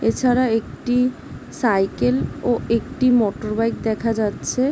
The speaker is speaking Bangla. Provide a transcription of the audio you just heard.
এছাড়া একটি সাইকেল -ও একটি মোটরবাইক দেখা যাচ্ছে।